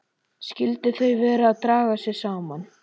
Skyldu þau vera að draga sig saman?